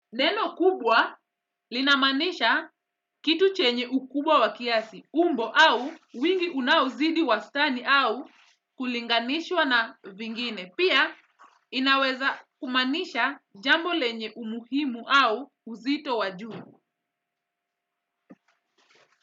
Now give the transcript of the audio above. Neno kubwa linamaanisha kitu chenye ukubwa wa kiasi, umbo au wingi unauzidi wastani au kulinganishwa na vingine. Pia inaweza kumaanisha jambo lenye umuhimu au uzito wa juu.